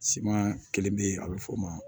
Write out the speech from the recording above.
Siman kelen bɛ yen a bɛ f'o ma